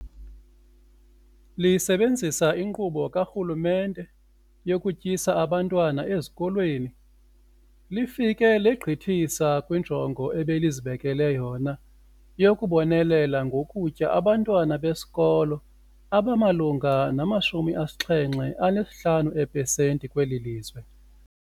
Lisebenzisa iNkqubo kaRhulumente yokuTyisa Abantwana Ezikolweni, lifike legqithisa kwinjongo ebelizibekele yona yokubonelela ngokutya abantwana besikolo abamalunga nama-75 eepesenti kweli lizwe.